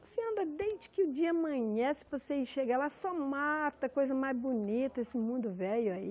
Você anda desde que o dia amanhece, você chega lá, só mata, coisa mais bonita, esse mundo velho aí.